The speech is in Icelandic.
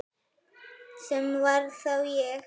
Sem var þá ég.